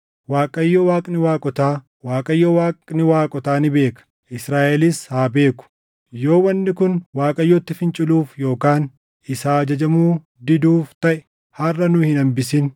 “ Waaqayyo Waaqni waaqotaa, Waaqayyo Waaqni waaqotaa ni beeka! Israaʼelis haa beeku! Yoo wanni kun Waaqayyotti finciluuf yookaan isaa ajajamuu diduuf taʼe harʼa nu hin hambisin.